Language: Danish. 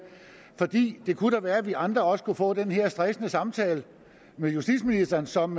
for det det kunne da være at vi andre også kunne få den her stressende samtale med justitsministeren som